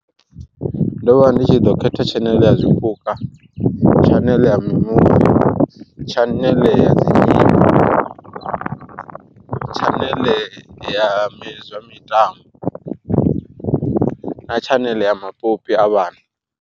Ndo vha ndi tshi ḓo khetha tshaneḽe ya zwipuka, tshaneḽe ya mimuvi, tshaneḽe ya dzi tshaneḽe ya zwa mitambo na tshaneḽe ya mapopi a vhana.